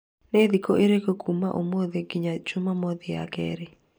Nĩ thikũ ĩrĩkũ kuuma ũmũthĩ nginya Jumamothi ya kerĩ?